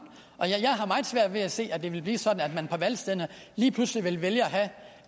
og jeg har meget svært ved at se at det vil blive sådan at de på valgstederne lige pludselig vil vælge